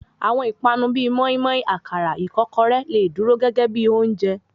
Àwọn ìpani bíi móímóí, àkàrà, ìkọ́kọrẹ́, lè dúró gégé bíi oúnjẹ.